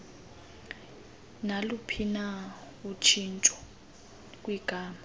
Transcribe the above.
naluphina utshintsho kwigama